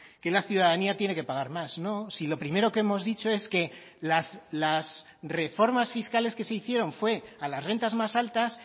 que la ciudadanía tiene que pagar más no si lo primero que hemos dicho es que las reformas fiscales que se hicieron fue a las rentas más altas